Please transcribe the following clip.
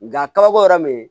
Nga kabako yɛrɛ be yen